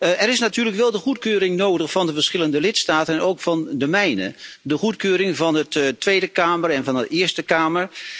Er is natuurlijk wel de goedkeuring nodig van de verschillende lidstaten en ook van de mijne de goedkeuring van de Tweede Kamer en van de Eerste Kamer.